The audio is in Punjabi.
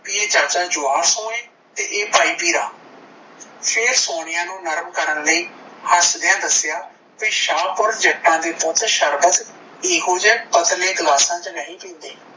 ਬੀ ਚਾਚਾ ਜਵਾਰ ਸਿਉ ਏ ਤੇ ਇਹ ਭਾਈ ਭੀਰਾ ਫੇਰ ਸੋਨੀਆ ਨੂੰ ਨਰਮ ਕਰਨ ਲਈ ਹੱਸਦਿਆਂ ਦੱਸਿਆ ਕੀ ਸ਼ਾਹਪੁਰ ਜੱਟਾਂ ਦੇ ਪੁੱਤ ਸ਼ਰਬਤ ਇਹੋ ਜਿਹੇ ਪਤਲੇ ਗਿਲਾਸਾਂ ਵਿੱਚ ਨਹੀਂ ਪੀਂਦੇ